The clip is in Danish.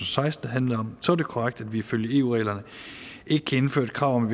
seksten handlede om så er det korrekt at vi ifølge eu reglerne ikke kan indføre et krav om at